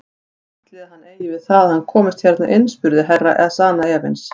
Ætli hann eigi við það að hann komist hérna inn spurði Herra Ezana efins.